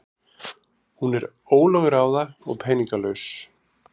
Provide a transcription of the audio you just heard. Hún er ólögráða og peningalaus.